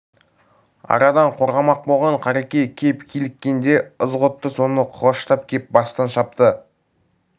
арадан қорғамақ болған қареке кеп киліккенде ызғұтты соны құлаштап кеп бастан шапты